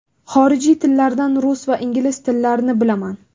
Xorijiy tillardan rus va ingliz tillarini bilaman.